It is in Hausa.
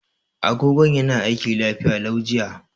Agogon yana aiki lafiya lau jiya.